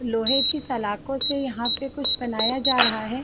लोहे की सलाखों से यहाँ पे कुछ बनाया जा रहा है।